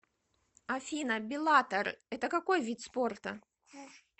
афина беллатор это какой вид спорта